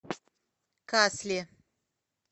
касли